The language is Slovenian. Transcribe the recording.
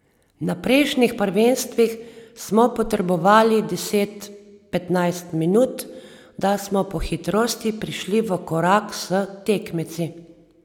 Na prejšnjih prvenstvih smo potrebovali deset, petnajst minut, da smo po hitrosti prišli v korak s tekmeci.